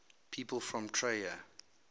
people from trier